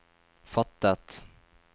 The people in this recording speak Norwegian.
fattet